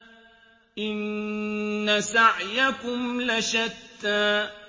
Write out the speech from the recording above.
إِنَّ سَعْيَكُمْ لَشَتَّىٰ